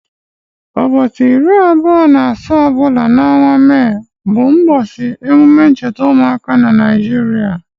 Ụbọchị iri abụọ na asaa ọbụla nke ọnwa May bụ ụbọchị emume ncheta ụmụaka na Nigeria